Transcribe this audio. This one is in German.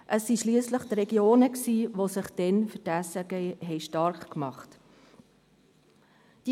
Es waren schliesslich die Regionen, die sich damals für die SRG stark gemacht hatten.